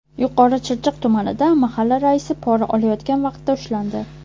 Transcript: Yuqori Chirchiq tumanida mahalla raisi pora olayotgan vaqtda ushlandi.